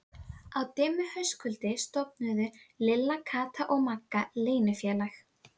Á dimmu haustkvöldi stofnuðu Lilla, Kata og Magga leynifélag.